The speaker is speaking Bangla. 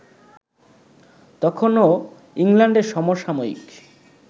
তখনও ইংল্যান্ডে সমসাময়িক